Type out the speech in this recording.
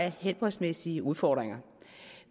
helbredsmæssige udfordringer